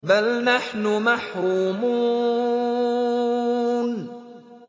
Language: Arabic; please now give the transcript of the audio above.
بَلْ نَحْنُ مَحْرُومُونَ